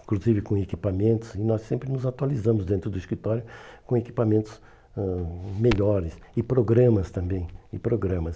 inclusive com equipamentos, e nós sempre nos atualizamos dentro do escritório com equipamentos ãh melhores e programas também, e programas.